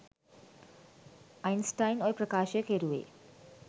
Einstein ඔය ප්‍රකාශය කෙරුවේ